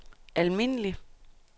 almindelig